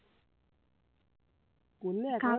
করলে একেবারে